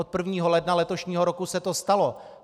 Od 1. ledna letošního roku se to stalo.